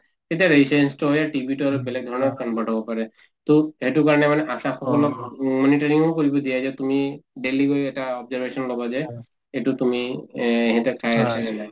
তেতিয়া হৈ TB টো অলপ বেলেগ ধৰনত convert হব পাৰে । টো এইটো কাৰণে মানে আশা সকলক মানে training ও কৰিব দিয়ে । এতিয়া তুমি daily গৈ এটা observation লবা যে এইটো তুমি এ এটা